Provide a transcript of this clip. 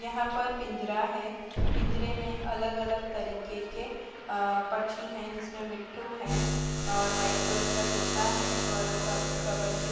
यहाँ पर पिंजरा है पिंजरे में अलग-अलग तरीके के अ पक्षी हैं जिसमें मिट्ठू है और वाइट कलर का तोता है और कब कबर ची --